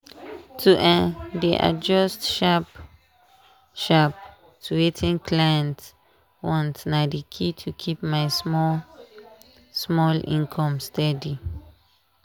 to um dey adjust sharp-sharp to wetin clients want na key to keep my small-small income steady.